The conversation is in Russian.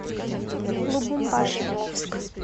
лубумбаши